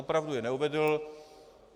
Opravdu je neuvedl.